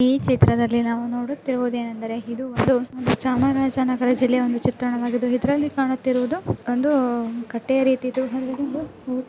ಈ ಚಿತ್ರದಲ್ಲಿನೋಡುತ್ತಿರುವುದು ಏನೆಂದರೆ ಇದು ಒಂದು ಚಾಮರಾಜನಗರ ಒಂದು ಚಿತ್ರಣವಾಗಿದ್ದು ಇಲ್ಲಿಕಾಣುತ್ತಿರುವುದು ಒಂದುಕಟ್ಟೆಯ ರೀತಿಯಲ್ಲಿ--